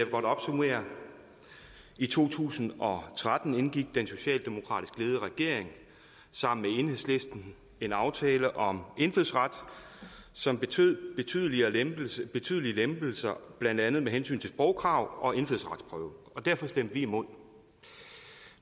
godt opsummere i to tusind og tretten indgik den socialdemokratisk ledede regering sammen med enhedslisten en aftale om indfødsret som betød betydelige lempelser betydelige lempelser blandt andet med hensyn til sprogkrav og indfødsretsprøve og derfor stemte vi imod